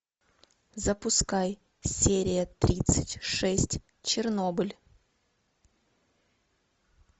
запускай серия тридцать шесть чернобыль